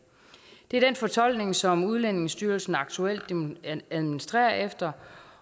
det er den fortolkning som udlændingestyrelsen aktuelt administrerer efter